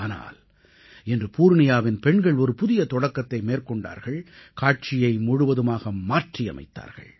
ஆனால் இன்று பூர்ணியாவின் பெண்கள் ஒரு புதிய தொடக்கத்தை மேற்கொண்டார்கள் காட்சியை முழுவதுமாக மாற்றியமைத்தார்கள்